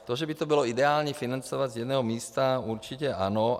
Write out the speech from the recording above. To, že by to bylo ideální financovat z jednoho místa, určitě ano.